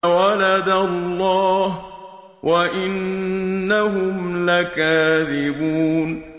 وَلَدَ اللَّهُ وَإِنَّهُمْ لَكَاذِبُونَ